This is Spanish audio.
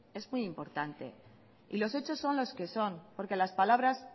es muy importante y los hechos son los que son porque las palabras